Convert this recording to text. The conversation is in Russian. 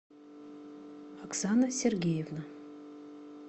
оксана сергеевна